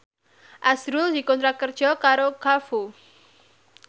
azrul dikontrak kerja karo Carrefour